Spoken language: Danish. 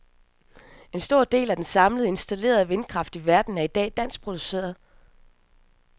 En stor af den samlede installerede vindkraft i verden er i dag dansk produceret.